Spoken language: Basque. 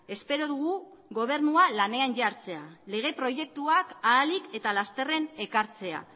espero dugu gobernua lanean jartzea lege proiektuak ahalik eta lasterren ekartzea